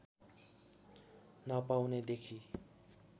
नपाउने देखि